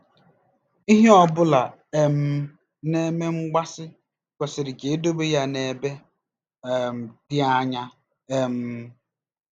Ihe ọ bụla um na-eme mgbaasị kwesịrị ka edobe ya n'ebe um dị anya. um